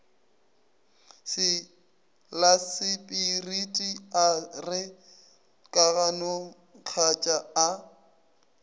lasepiriti a re kaganongkatšaa a